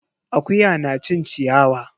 Akuya na cin ciyawa.